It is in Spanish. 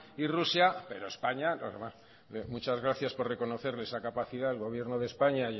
y rusia pero españa muchas gracias por reconocerle esa capacidad al gobierno de españa